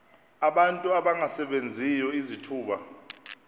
abantu abangasebenziyo izithuba